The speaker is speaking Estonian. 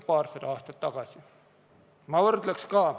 Ma tooks ka ühe võrdluse.